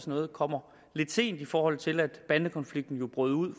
noget kommer lidt sent i forhold til at bandekonflikten jo brød ud